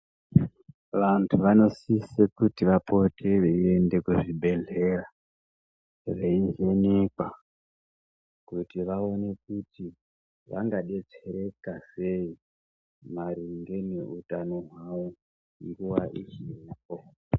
Vantu vanosise kuti vapote veyienda kuzvibhehleya veivhenekwa kuti vaoneke kuti vangadetsereka sei maringe neutano hwavo nguwa uchipo.